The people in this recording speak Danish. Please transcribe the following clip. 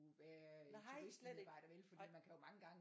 Være turistmedarbejder vel fordi man kan jo mange gange